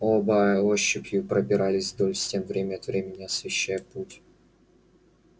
оба ощупью пробирались вдоль стен время от времени освещая путь